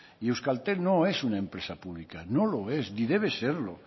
y euskaltel no es una empresa pública no lo es ni debe serlo